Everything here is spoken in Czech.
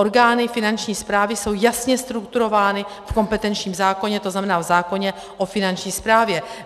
Orgány Finanční správy jsou jasně strukturovány v kompetenčním zákoně, to znamená v zákoně o Finanční správě.